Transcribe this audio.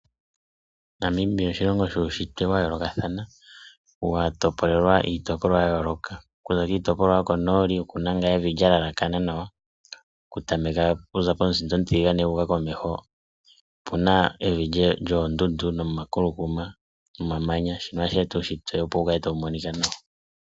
Namibia oshilongo shuunshitwe wa yoolokathana, wa topolelwa iitopolwa ya yooloka. Oku za kiitopolwa yokonooli oku na ngaa evi lya lalakana nawa. Okutameka okuza komusinda omutiligane opu na evi lyoondundu nomakulukuma nomamanya. Shino ohashi eta uunshitwe opo wu kale tawu monika nawa.